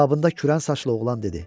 Cavabında kürən saçlı oğlan dedi.